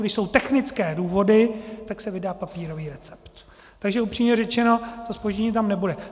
Když jsou technické důvody, tak se vydá papírový recept, takže upřímně řečeno, to zpoždění tam nebude.